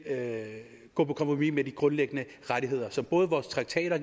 gå på kompromis med de grundlæggende rettigheder som vores traktater